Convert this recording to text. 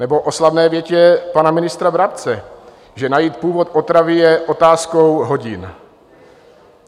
Nebo o slavné větě pana ministra Brabce, že najít původ otravy je otázkou hodin.